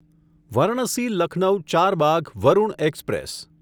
Varanasi Lucknow Charbagh Varun express